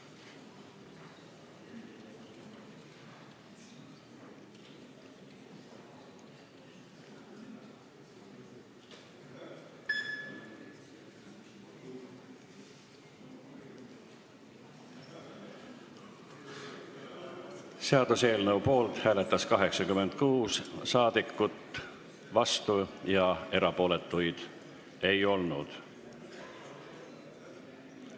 Hääletustulemused Seaduseelnõu poolt hääletas 86 saadikut, vastuolijaid ja erapooletuid ei olnud.